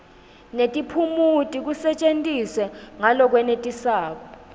netiphumuti kusetjentiswe ngalokwenetisako